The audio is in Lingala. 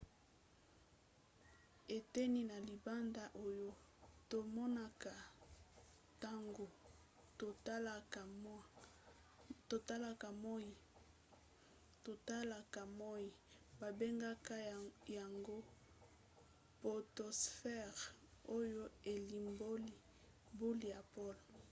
eteni ya libanda oyo tomonaka ntango totalaka moi babengaka yango potosphere oyo elimboli boule ya pole